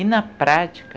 E na prática,